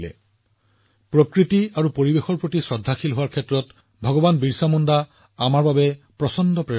যদি আমি প্ৰকৃতি আৰু পৰিৱেশক ভাল পাবলৈ শিকিব লাগে তেন্তে পৃথিৱী আবা ভগৱান বিৰচা মুণ্ডা হৈছে আমাৰ মহান অনুপ্ৰেৰণা